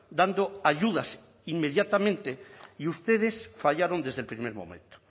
dando ayudas inmediatamente y ustedes fallaron desde el primer momento